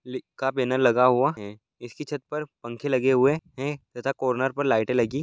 लिखा बैनर लगा हुआ इसकी छत पर पंखे लगे हुए हैं तथा कॉर्नर पर लाइटें लगी--